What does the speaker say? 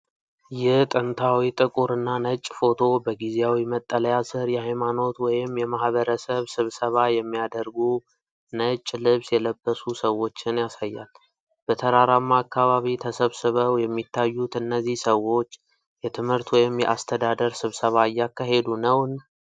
ይህ ጥንታዊ ጥቁር እና ነጭ ፎቶ በጊዜያዊ መጠለያ ስር የሃይማኖት ወይም የማህበረሰብ ስብሰባ የሚያደርጉ ነጭ ልብስ የለበሱ ሰዎችን ያሳያል። በተራራማ አካባቢ ተሰብስበው የሚታዩት እነዚህ ሰዎች የትምህርት ወይም የአስተዳደር ስብሰባ እያካሄዱ ነውን?